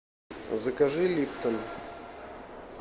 закажи липтон